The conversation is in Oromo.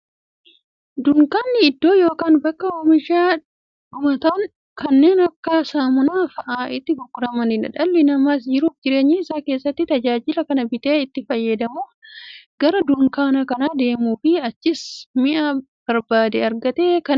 Dunkaanni iddoo yookiin bakka oomishni dhumatoon kanneen akka saamunaa faa'a itti gurguramuudha. Dhalli namaas jiruuf jireenya isaa keessatti, tajaajila kana bitee itti fayyadamuuf, gara dunkaanaa kan deemuufi achiis mi'a barbaade argatee kan bitatuudha.